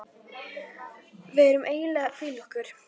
Við erum eiginlega að hvíla okkur.